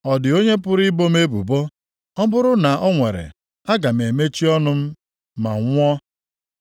Ọ dị onye pụrụ ibo m ebubo + 13:19 \+xt Aịz 50:8\+xt*? Ọ bụrụ na o nwere, aga m emechi ọnụ m ma nwụọ.